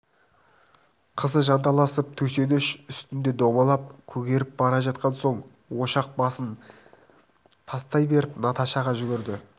қызы жанталасып төсеніш үстінде домалап көгеріп бара жатқан соң ошақ басын тастай беріп наташаға жүгірді